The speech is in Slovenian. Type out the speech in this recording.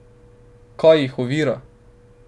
Kaj jih ovira?